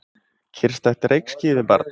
Kyrrstætt reykský yfir barnum.